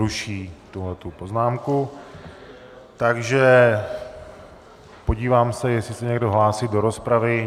Ruší tuhle poznámku, takže podívám se, jestli se někdo hlásí do rozpravy.